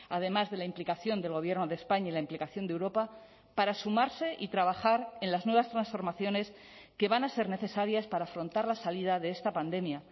además de la implicación del gobierno de españa y la implicación de europa para sumarse y trabajar en las nuevas transformaciones que van a ser necesarias para afrontar la salida de esta pandemia